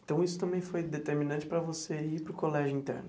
Então, isso também foi determinante para você ir para o colégio interno?